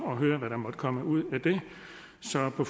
at høre hvad der måtte komme ud af det så på